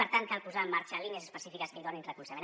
per tant cal posar en marxa línies específiques que hi donin recolzament